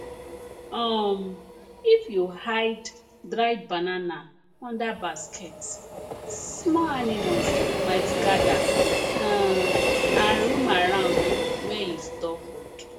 um if you hide dried banana under basket small animals might gather um and roam around where you store food